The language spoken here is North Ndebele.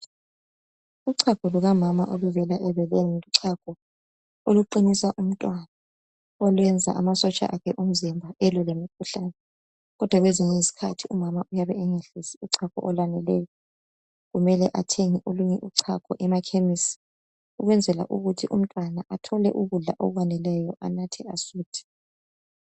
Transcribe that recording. Uchago lukamama oluvela ebeleni luchago oluqinisa umntwana okwenza amasotsha akhe omzimba elwe lemikhuhlane kodwa kwesinye isikhathi umama uyabe engehlisi kuyabe kumele athenge olunye uchago emakhemisi Ukwenzela ukuthi umntwana athole ukudla okwaneleyo anathe asuthe.